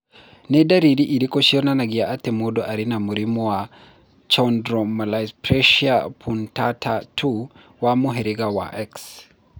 Nĩ ndariri irĩkũ cionanagia atĩ mũndũ arĩ na mũrimũ wa Chondrodysplasia punctata 2 wa mũhĩrĩga wa X?